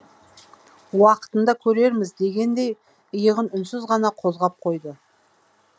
уақытында көрерміз дегендей иығын үнсіз ғана қозғап қойды